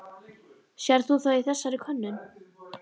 Sérð þú það í þessari könnun?